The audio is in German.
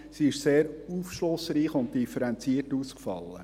Sie ist sehr aufschlussreich und differenziert ausgefallen.